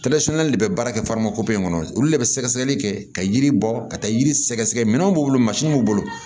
de bɛ baara kɛ kɔnɔ olu de bɛ sɛgɛsɛgɛli kɛ ka yiri bɔ ka taa yiri sɛgɛsɛgɛ minɛnw b'u bolo mansin b'u bolo